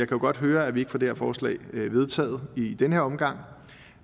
kan godt høre at vi ikke får det her forslag vedtaget i denne omgang